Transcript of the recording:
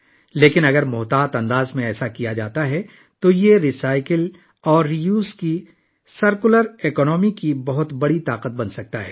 لیکن، اگر یہ کام احتیاط سے کیا جائے، تو یہ ری سائیکل اور دوبارہ استعمال کی سرکلر معیشت کی ایک بڑی قوت بن سکتا ہے